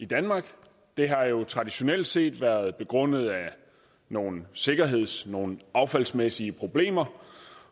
i danmark det har jo traditionelt set været begrundet af nogle sikkerheds nogle affaldsmæssige problemer